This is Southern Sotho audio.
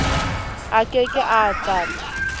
a ke ke a tata